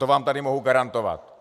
To vám tady mohu garantovat.